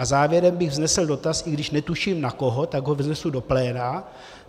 A závěrem bych vznesl dotaz, i když netuším na koho, tak ho vznesu do pléna.